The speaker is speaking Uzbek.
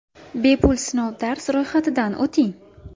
Bepul sinov dars ro‘yxatidan o‘ting!